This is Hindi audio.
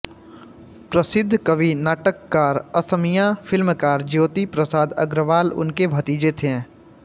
प्रसिद्ध कवि नाटककार असमिया फिल्मकार ज्योति प्रसाद अग्रवाल उनके भतीजे थे